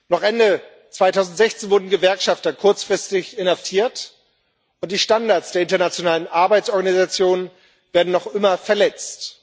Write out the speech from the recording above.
Noch Ende 2016 wurden Gewerkschafter kurzfristig inhaftiert, und die Standards der Internationalen Arbeitsorganisation werden noch immer verletzt.